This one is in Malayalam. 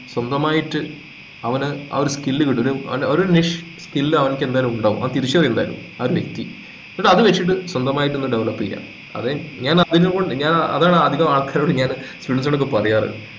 സ്വന്തമായിട്ട് അവനു ആ ഒരു skill വിടരും അവനൊരു നിഷ് skill അവനിക് എന്തായാലും ഇണ്ടാവും അത് തിരിച്ചറിയും എന്തായാലും ആ ഒരു വ്യക്തി എന്നിട് അത് വെച്ചിട്ട് സ്വന്തമായിട്ട് ഒന്ന് develop ചെയ്യുക അതെ ഞാൻ അതിനോ ഞാൻ അതാണ് അധികം ആൾക്കാരോടും ഞാനു കുഞ്ഞുങ്ങളോടൊക്കെ പറയാറ്